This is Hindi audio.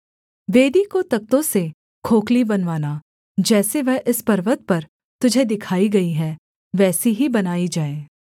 वेदी को तख्तों से खोखली बनवाना जैसी वह इस पर्वत पर तुझे दिखाई गई है वैसी ही बनाई जाए